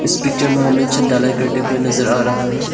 इस पिक्चर में हमें छत ढलाई करते हुए नजर आ रहा है।